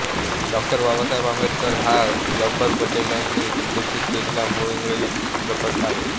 डॉ बाबासाहेब आंबेडकर हा जब्बार पटेल यांनी दिग्दर्शित केलेला मूळ इंग्रजी चित्रपट आहे